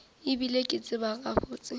e bile ke tseba gabotse